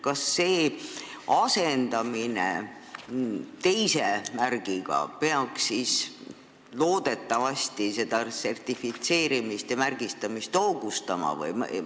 Kas selle asendamine teise märgiga peaks siis loodetavasti seda sertifitseerimist ja märgistamist hoogustama?